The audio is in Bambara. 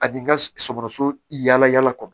Ani n ka sɔgɔsɔgɔ yala yala kɔnɔ